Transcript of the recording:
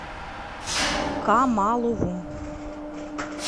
камалову